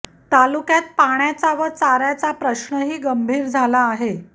तालुक्यात पाण्याचा व चाऱयाचा प्रश्नही गंभीर झाला आहे